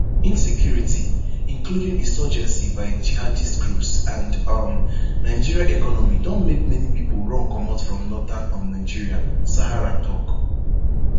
insecurity [including insurgency by jihadist groups] and um nigeria economy don make many pipo run comot from northern um nigeria sahara tok